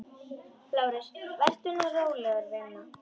LÁRUS: Vertu nú róleg, vina.